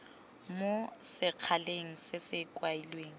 mo sekgaleng se se kailweng